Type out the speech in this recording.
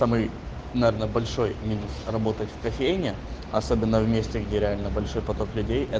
наверное большой минус работать в кофейне особенно вместе где реально большие потолки